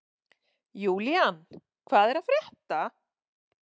Julian, hvað er að frétta?